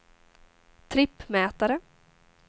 trippmätare